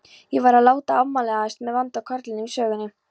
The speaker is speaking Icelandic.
Ég væri að láta afvegaleiðast með vonda karlinum í sögunni.